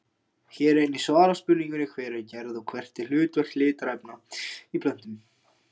Hér er einnig svarað spurningunni Hver er gerð og hvert er hlutverk litarefna í plöntum?